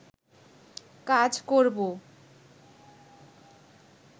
কাজ করবো